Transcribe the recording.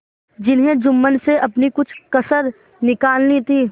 जिन्हें जुम्मन से अपनी कुछ कसर निकालनी थी